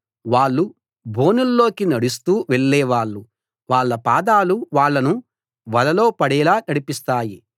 వాళ్ళు బోనుల్లోకి నడుస్తూ వెళ్ళే వాళ్ళు వాళ్ళ పాదాలు వాళ్ళను వలలో పడేలా నడిపిస్తాయి